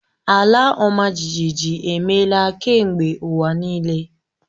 Ala ọmajiji emeela kemgbe ụwa niile.